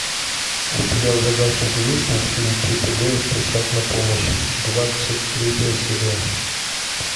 у тебя в загашнике есть мультфильм чип и дейл спешат на помощь двадцать третья серия